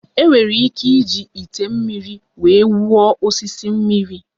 Enwere ike iji ite mmiri wee wụọ osisi mmiri.